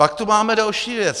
Pak tu máme další věc.